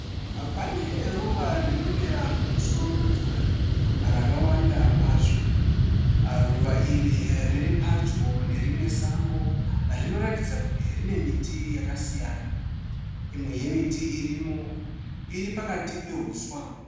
Pane ruva rinomera pamusoro pemvura rakawanda kwazvo. Ruva iri riri padyo nerimwe sango rinoratidza kuti rine miti yakasiyana. imwe yemiti iripo iri pakati pehuswa.